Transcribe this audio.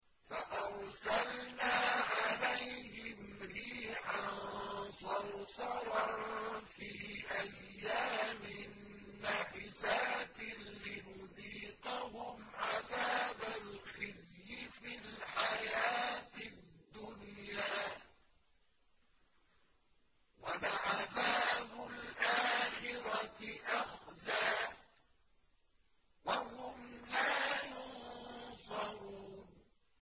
فَأَرْسَلْنَا عَلَيْهِمْ رِيحًا صَرْصَرًا فِي أَيَّامٍ نَّحِسَاتٍ لِّنُذِيقَهُمْ عَذَابَ الْخِزْيِ فِي الْحَيَاةِ الدُّنْيَا ۖ وَلَعَذَابُ الْآخِرَةِ أَخْزَىٰ ۖ وَهُمْ لَا يُنصَرُونَ